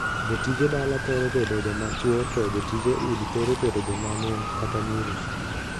Jotije dala thoro bedo joma chwo to jotije udi thoro bedo joma mon kata nyiri.